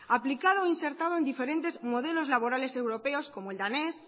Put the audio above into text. aplicado e insertado en diferentes modelos laborales europeos como el danés